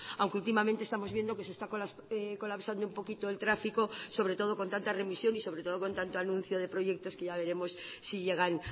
aunque últimamente estamos viendo que se está colapsando un poquito el tráfico sobre todo con tanta remisión y sobre todo con tanto anuncio de proyectos que ya veremos si llegan